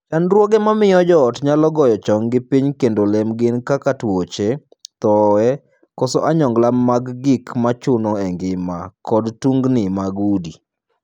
Chandruoge ma miyo joot nyalo goyo chonggi piny kendo lem gin kaka tuoche, thooe, koso onyongla mag gik mochuno e ngima, kod tungni mag udi.